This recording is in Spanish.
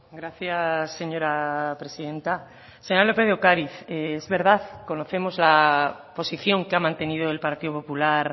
gracias señora presidenta señora lópez de ocariz es verdad conocemos la posición que ha mantenido el partido popular